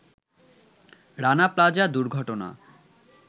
Rana Plaza দুর্ঘটনা